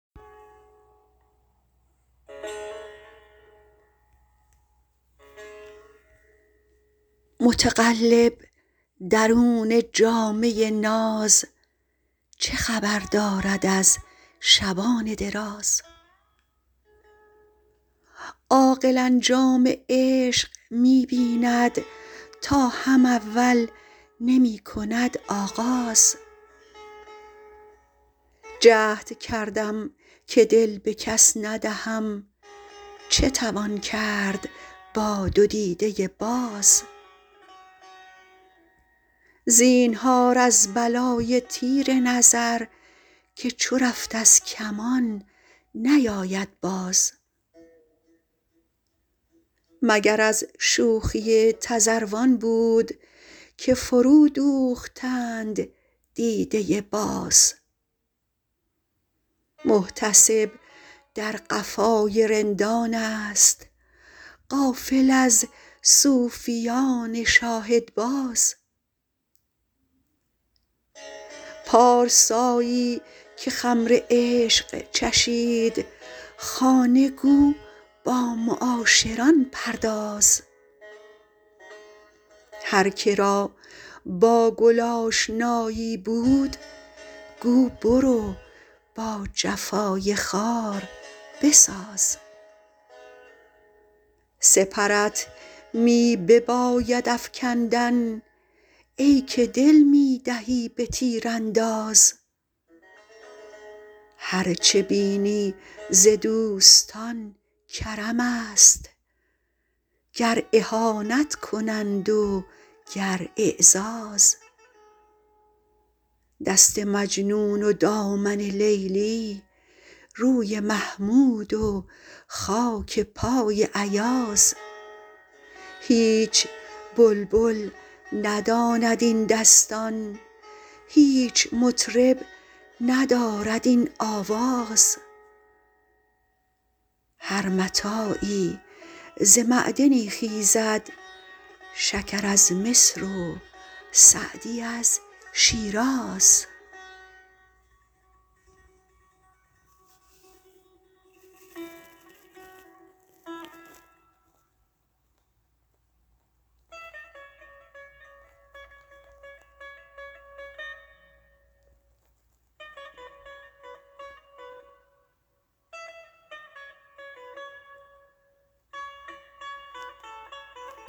متقلب درون جامه ناز چه خبر دارد از شبان دراز عاقل انجام عشق می بیند تا هم اول نمی کند آغاز جهد کردم که دل به کس ندهم چه توان کرد با دو دیده باز زینهار از بلای تیر نظر که چو رفت از کمان نیاید باز مگر از شوخی تذروان بود که فرودوختند دیده باز محتسب در قفای رندانست غافل از صوفیان شاهدباز پارسایی که خمر عشق چشید خانه گو با معاشران پرداز هر که را با گل آشنایی بود گو برو با جفای خار بساز سپرت می بباید افکندن ای که دل می دهی به تیرانداز هر چه بینی ز دوستان کرمست گر اهانت کنند و گر اعزاز دست مجنون و دامن لیلی روی محمود و خاک پای ایاز هیچ بلبل نداند این دستان هیچ مطرب ندارد این آواز هر متاعی ز معدنی خیزد شکر از مصر و سعدی از شیراز